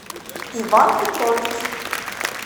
иван петрович